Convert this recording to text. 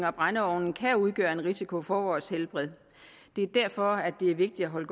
og brændeovne kan udgøre en risiko for vores helbred det er derfor at det er vigtigt at holde